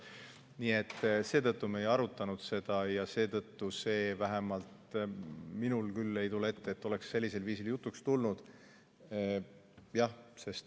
Nii et seetõttu me ei arutanud seda ja vähemalt minul küll ei tule ette, et see oleks sellisel viisil jutuks tulnud.